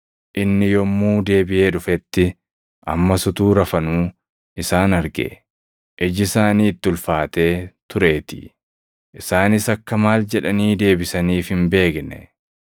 Inni yommuu deebiʼee dhufetti, ammas utuu rafanuu isaan arge; iji isaanii itti ulfaatee tureetii. Isaanis akka maal jedhanii deebisaniif hin beekne.